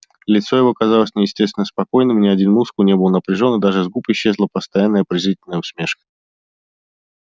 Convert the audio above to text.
лицо его казалось неестественно спокойным ни один мускул не был напряжён и даже с губ исчезла постоянная презрительная усмешка